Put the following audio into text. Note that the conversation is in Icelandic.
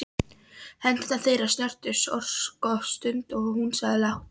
Hendur þeirra snertust örskotsstund og hún sagði lágt